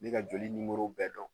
Ne ka joli nimoro bɛɛ dɔn